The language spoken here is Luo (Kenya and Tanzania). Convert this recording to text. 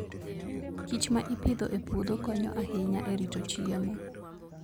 kich ma ipidho e puodho konyo ahinya e rito chiemo.